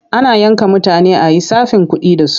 Ana yanka mutane a yi tsafin kuɗi da su.